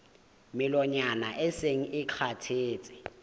melongwana e seng e kgathetse